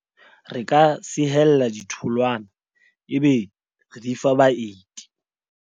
re ka sehella ditholwana ebe re di fa baeti